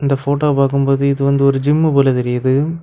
இந்த போட்டோவை பார்க்கும் போது இது வந்து ஒரு ஜிம்மு போல தெரியுது.